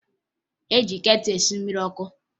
E ji ketụlụ esi mmiri ọkụ